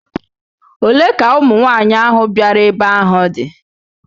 Olee ka ụmụnwaanyị ahụ bịara ebe ahụ dị?